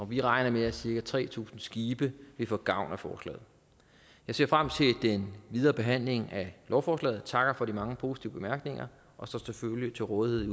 vi regner med at cirka tre tusind skibe vil få gavn af forslaget jeg ser frem til den videre behandling af lovforslaget takker for de mange positive bemærkninger og står selvfølgelig til rådighed